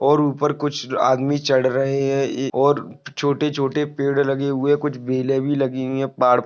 और ऊपर कुछ आदमी चढ़ रहे हैं और छोटे छोटे पेड़ लगे हुए कुछ बेले भी लगी हुई है पहाड़--